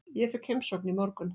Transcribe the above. Ég fékk heimsókn í morgun.